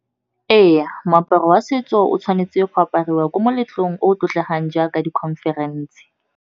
Ee, moaparo wa setso o tshwanetse go apariwa ko meletlong o tlotlegang jaaka di-conference.